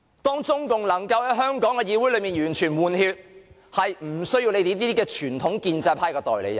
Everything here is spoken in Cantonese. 當中共能夠令香港的議會完全換血，便不需要你們這些傳統建制派的代理人了。